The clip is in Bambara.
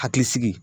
Hakili sigi